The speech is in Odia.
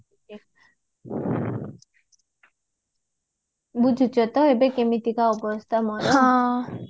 ବୁଝୁଚ ତ ଏବେ କେମିତିକା ଅବସ୍ଥା ମୋର